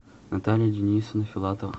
наталья денисовна филатова